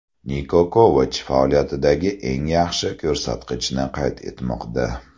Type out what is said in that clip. Niko Kovach faoliyatidagi eng yaxshi ko‘rsatkichni qayd etmoqda.